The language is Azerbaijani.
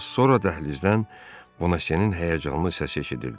Az sonra dəhlizdən Bonasenin həyəcanlı səsi eşidildi.